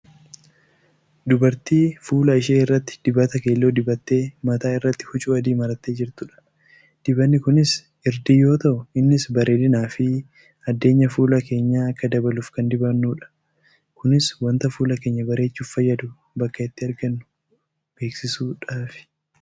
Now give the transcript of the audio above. Dubartii fuula ishee irratti dibata keelloo dibattee mataa irratti huccuu adii marattee jirtudha. Dibanni kunis irdii yoo ta'u innis bareedinaafi addeenya fuula keenyaa akka dabaluuf kan dibannudha. Kunis wanta fuula keenya bareechuuf fayyadu bakka itti argannu beeksisuudhafi.